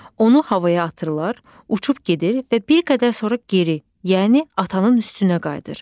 Onu havaya atırlar, uçub gedir və bir qədər sonra geri, yəni atanın üstünə qayıdır.